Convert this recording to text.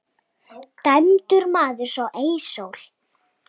Dæmdur maður sá ei sól.